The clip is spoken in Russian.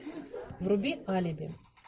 вруби алиби